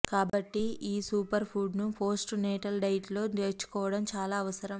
కాబట్టి ఈ super food ను పోస్ట్ నేటల్ డైట్ లో చేర్చుకోవడం చాలా అవసరం